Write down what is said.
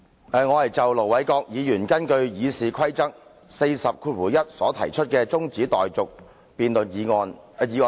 主席，我要就盧偉國議員根據《議事規則》第401條動議的中止待續議案發言。